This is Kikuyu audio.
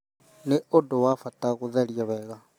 Nĩ ũndũ wa bata gũtheria wega,